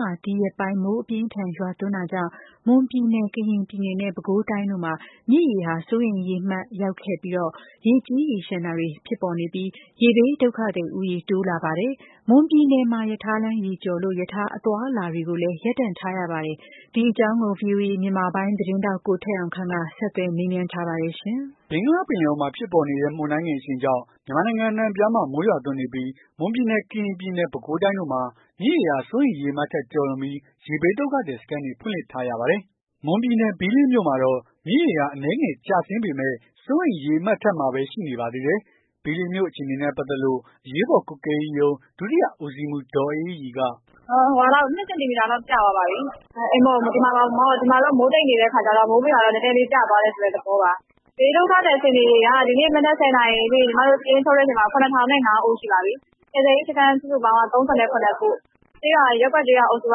မှာ ဒီရက်ပိုင်း မိုးအပြင်းအထန် ရွာသွန်းတာကြောင့် မွန်ပြည်နယ် ၊ ကရင်ပြည်နယ်နဲ့ ပဲခူးတိုင်းတို့မှာ မြစ်ရေဟာ စိုးရိမ်ရေအမှတ်ရောက်ခဲ့ပြီး ရေကြီးရေလျှံတာတွေ ဖြစ်ပေါ်နေပြီးတော့ ရေဘေး ဒုက္ခသည် ဦးရေတိုးလာပါတယ်။ မွန်ပြည်နယ်မှာ ရထားလမ်းရေကျော်လို့ ရထားအသွားအလာတွေလည်း ရပ်တန့်ထားရပါတယ်။ ဒီအကြောင်းကို ဗွီအိုအေ မြန်မာပိုင်း သတင်းထောက် ကိုထက်အောင်ခန့်က ဆက်သွယ်မေးမြန်းထားပါတယ်။ ဘင်္ဂလားပင်လယ်အော်မှာဖြစ်ပေါ်နေတဲ့ မုန်တိုင်းငယ်အရှိန်ကြောင့် မြန်မာနိုင်ငံအနှံ့အပြားမှာ မိုးရွာသွန်းနေပြီး မွန်ပြည်နယ်၊ ကရင်ပြည်နယ် ၊ ပဲခူးတိုင်းတို့မှာ မြစ်ရေဟာ စိုးရိမ်ရေအမှတ်ထက်ကျော်လွန်ပြီး ရေဘေးဒုက္ခသည် စခန်းတွေ ဖွင့်လှစ်ထားရပါတယ်။ မွန်ပြည်နယ်၊ ဘီးလင်းမြို့မှာတော့ မြစ်ရေဟာ အနည်းငယ်ကျဆင်းပေမယ့် စိုးရိမ်ရေအမှတ်ထက်မှာပဲ ရှိနေပါသေးတယ်။ ဘီးလင်းမြို့အခြေအနေနဲ့ ပတ်သက်လို့ အရေးပေါ် ကွပ်ကဲရေးရုံး ဒုတိယဦးစီးမှူး ဒေါ်အေးအေးရီက "၂ စင်တီမီတာလောက် ကျသွားပါပြီ။ ဒီမှာတော့ မိုးတိတ်နေတဲ့အခါကျတော့ မိုးမရွာတော့ နည်းနည်းလေး ကျသွားတဲ့သဘောပါ။ ရေဘေးဒုက္ခသည်အခြေအနေက စာရင်းချုပ်တဲ့အချိန်မှာ ၇ ထောင်နဲ့ ၅ ဦးရှိပါပြီ။ ကယ်ဆယ်ရေး စခန်းက ၃၇ ခု ရပ်ကွက်ကျေးရွာ အုပ်စုက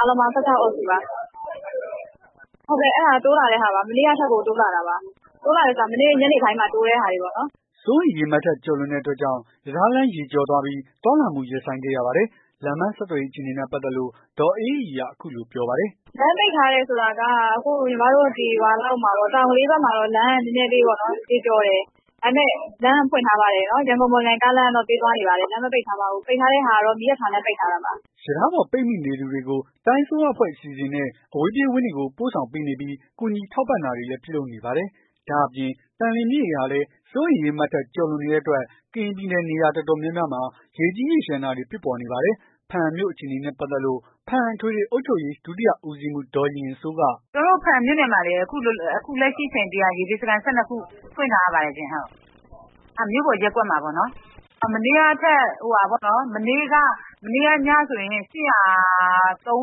၁၆ အုပ်စုပါ။ တိုးလာတဲ့ဟာပါ။ မနေ့ကထက်ကို တိုးလာတဲ့ဟာပါ။ မနေ့ညနေပိုင်းမှာတိုးလာတဲ့ဟာပါ။" စိုးရိမ်ရေအမှတ်ထက်ကျော်လွန်တဲ့ အတွက်ကြောင့် ရထားလမ်းရေကျော်ပြီး သွားလာမှုရပ်ဆိုင်းခဲ့ရပါတယ်။ လမ်းပန်းဆက်သွယ်ရေးအခြေအနေနဲ့ ပတ်သက်လို့ ဒေါ်အေးအေးရီက အခုလိုပြောပါတယ်။ "လမ်းပိတ်ထားတယ်ဆိုတာက ညီမတို့ တောင်ကလေးဘက်မှာတော့ လမ်းကနည်းနည်းလေး ရေကျော်တယ်။ ဒါပေမယ့်လမ်းကဖွင့်ထားပါတယ်။ ရန်ကုန်မော်လမြိုင် လမ်းကပေးသွားနေပါတယ်။ လမ်းမပိတ်ထားပါဘူး။ ပိတ်ထားတဲ့ဟာကတော့ မီးရထားလမ်း ပိတ်ထားတာပါ။" ရထားပေါ်ပိတ်မိနေသူတွေကို တိုင်းအစိုးရအဖွဲ့ အစီအစဉ်နဲ့ အဝေးပြေးဝင်းတွေကို ပို့ဆောင်ပေးနေပြီး ကူညီထောက်ပံ့တာတွေလည်း ပြုလုပ်နေပါတယ်။ ဒါ့အပြင်သံလွင်မြစ်ရေဟာလည်း စိုးရိမ်ရေအမှတ်ထက် ကျော်လွန်နေတဲ့အတွက် ကရင်ပြည်နယ် နေရာတော်တော် များများမှာ ရေကြီးရေလျံတာတွေ ဖြစ်ပေါ်နေပါတယ်။ ဘားအံ့မြို့အခြေအနေနဲ့ ပတ်သက်လို့ ဘားအံ့ အထွေထွေအုပ် ချုပ်ရေး ဒုတိယ ဦးစီးမှူး ဒေါ်ရင်ရင်စိုးက "ကျွန်မတို့ ဘားအံ့မြို့နယ်မှာ ရေဘေးစခန်း အခုလက်ရှိ ၁၂ ခုဖွင့်ထားရပါတယ်။ အဲ့ဒါမြို့ပေါ် ရပ်ကွက်မှာပေါ့ နော်။ မနေ့ကညဆိုရင် ၈၃၉ လောက်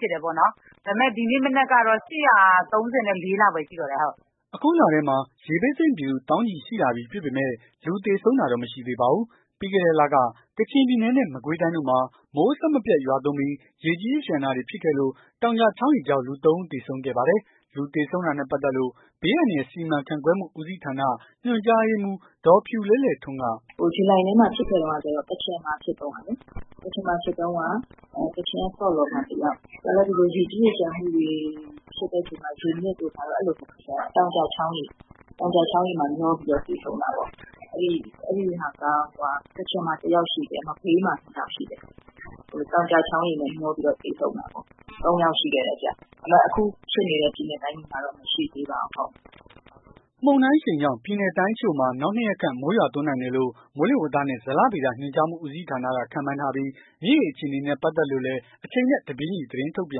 ရှိတယ်ပေါ့နော်။ ဒီနေ့မနက်ကတော့ ၈၃၄ လောက်ပဲရှိတော့တယ်။" အခုလထဲမှာ ရေဘေးသင့်ပြည်သူ သောင်းချီရှိလာပြီဖြစ်ပေမယ့် လူသေဆုံးတာတော့ မရှိသေးပါဘူး။ ပြီးခဲ့တဲ့လက ကချင်ပြည်နယ်နဲ့ မကွေးတိုင်းတို့မှာ မိုးအဆက်မပြတ် ရွာသွန်းပြီး ရေကြီးရေလျံတာတွေ ဖြစ်ခဲ့လို့ တောင်ကျ ချောင်းရေကြောင့် လူ ၃ ဦးသေဆုံးခဲ့ပါတယ်။ လူသေဆုံးတာနဲ့ ပတ်သက်လို့ ဘေးအန္တရာယ်စီမံခန့်ခွဲမှု ဦးစီးဌာန ညွှန်ကြားရေးမှူး ဒေါ်ဖြူလဲ့လဲ့ထွန်းက "ဂျူလိုင်လထဲမှာ ဖြစ်ခဲ့တုန်းက ကချင်မှာဖြစ်ခဲ့တုန်းကလေ ကချင်မှာတုန်းက တယောက် သူကလည်း ရေကြီး ရေလျံ ဖြစ်တဲ့အချိန်မှာ ရေနစ်တဲ့ပုံစံ တောင်ကျချောင်းရေနဲ့ မျောပြီးသေဆုံးတာပေါ့။ အဲ့ဒါက ကချင်မှာ တယောက်ရှိတယ်။ မကွေးမှာ ၂ ယောက်ရှိတယ်။ တောင်ကျချောင်းရေနဲ့ မျောပြီးသေဆုံးခဲ့တာ ၃ ယောက်ရှိ ခဲ့တယ်။ အခုဖြစ်နေတဲ့ ပြည်နယ်တိုင်းတွေမှာတော့ မရှိသေးပါဘူး။ မုန်တိုင်းအရှိန်ကြောင့် ပြည်နယ်တိုင်းအချို့မှာ နောက် ၂ ရက်ခန့် မိုးရွာသွန်းနိုင်တယ်လို့ မိုးလေဝသနှင့် ဇလဗေဒညွှန်ကြားမှူဦးစီးဌာနက ခန့်မှန်းထားပြီး မြစ်ရေအခြေအနေနဲ့ ပတ်သက်လို့လည်း အချိန်နဲ့ တပြေးညီ သတင်းထုတ်ပြ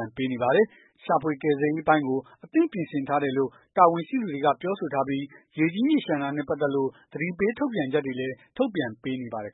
န်ပေးနေပါတယ်။ ရှာဖွေကယ်ဆယ်ရေးအပိုင်းကို အသင့်ပြင်ဆင်ထားတယ်လို့ တာဝန်ရှိသူတွေက ပြောဆိုထားပြီး ရေကြီးရေလျံတာနဲ့ ပတ်သက်လို့ သတိပေးထုတ်ပြန်ချက်တွေလည်း ထုတ်ပြန်ပေးနေပါတယ်